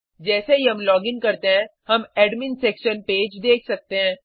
जैसे ही हम लॉगिन करते हैं हम एडमिन सेक्शन पेज देख सकते हैं